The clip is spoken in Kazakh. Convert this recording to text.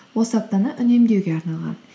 осы аптаны үнемдеуге арнаған